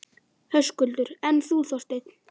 Höskuldur: En þú, Þorsteinn?